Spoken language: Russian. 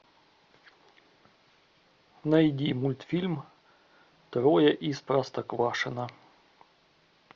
найди мультфильм трое из простоквашино